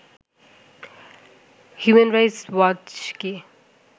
human Rights Watch K